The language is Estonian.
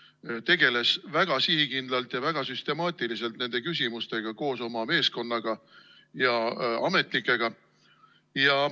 Ta tegeles väga sihikindlalt ja süstemaatiliselt nende küsimustega koos oma meeskonna ja ametnikega.